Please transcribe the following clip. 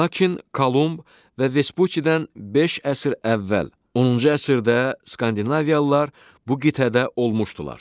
Lakin Kolumb və Vespuccidən beş əsr əvvəl 10-cu əsrdə Skandinaviyalılar bu qitədə olmuşdular.